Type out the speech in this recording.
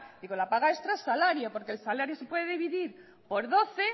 digo la paga extra es salario porque el salario se puede dividir por doce